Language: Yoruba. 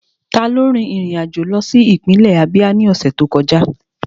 Taló rin ìrìn àjò lọ sí ìpínlẹ̀ Ábíá ní ọ̀sẹ̀ tó kọjá?